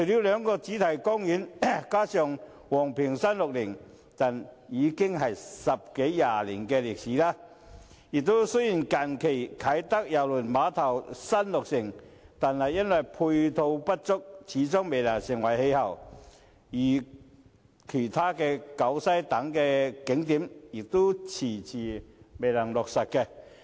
兩個主題公園和昂坪360這些景點已有十多二十年歷史，雖然近年啟德郵輪碼頭落成，但由於配套不足，始終未成氣候，其他景點如西九文化區等，亦遲遲未能落實。